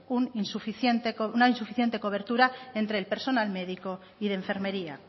una insuficiente cobertura entre el personal médico y de enfermería